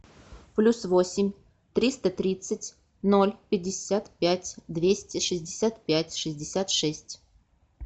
плюс восемь триста тридцать ноль пятьдесят пять двести шестьдесят пять шестьдесят шесть